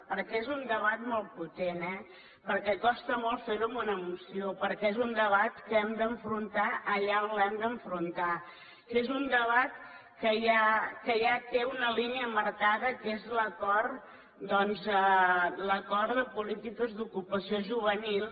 perquè és un debat molt potent eh perquè costa molt fer ho en una moció perquè és un debat que hem d’enfrontar allà on l’hem d’enfrontar que és un debat que ja té una línia marcada que és l’acord doncs de polítiques d’ocupació juvenil